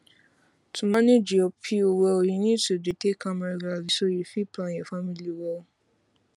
to manage your pill well you need to dey take am regularly so you fit plan your family well